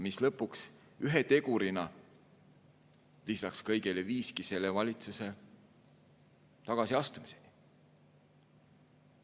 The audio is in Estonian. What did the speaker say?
Lõpuks, ühe tegurina lisaks kõigele, see viiski valitsuse tagasiastumiseni.